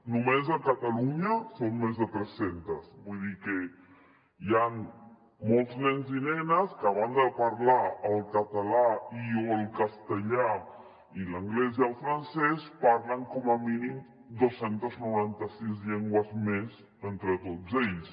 només a catalunya són més de tres centes vull dir que hi han molts nens i nenes que a banda de parlar el català i o el castellà i l’anglès i el francès parlen com a mínim dos cents i noranta sis llengües més entre tots ells